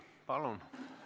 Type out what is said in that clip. Palun!